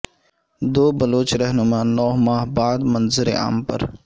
دو بلوچ رہنما نو ماہ بعد منظر عام پر